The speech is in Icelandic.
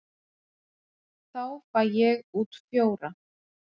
Þá fæ ég út fjóra.